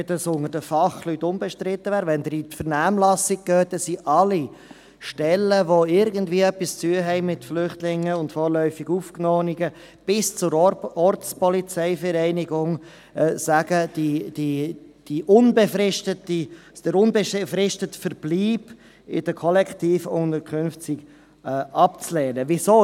Wenn es unter den Fachstellen unbestritten wäre ... Wenn Sie in die Vernehmlassung gehen, sagen alle Stellen, die irgendetwas mit Flüchtlingen und vorläufig Aufgenommenen zu tun haben, bis hin zur Ortspolizeivereinigung, dass der unbefristete Verbleib in den Kollektivunterkünften abzulehnen sei.